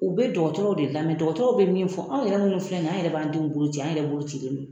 U bɛ dɔgɔtɔrɔw de lamɛnw dɔgɔtɔrɔw bɛ min fɔ anw yɛrɛ minnu filɛ nin ye anw yɛrɛ b'an denw boloci an yɛrɛ bolo cilen don